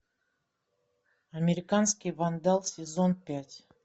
американский вандал сезон пять